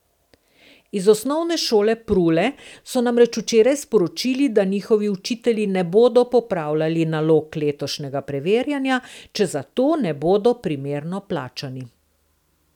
Z Osnovne šole Prule so namreč včeraj sporočili, da njihovi učitelji ne bodo popravljali nalog letošnjega preverjanja, če za to ne bodo primerno plačani.